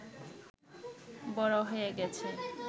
বড় হয়ে গেছে